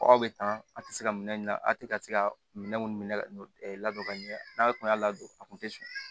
Aw bɛ tan a tɛ se ka minɛ a tɛ ka se ka minɛn minnu labɔ ka ɲɛ n'a tun y'a ladon a kun tɛ sɔn